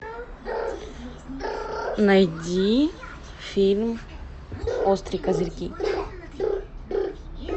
найди фильм острые козырьки